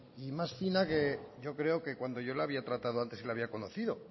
y más fina que cuando yo le había tratado antes y la había conocido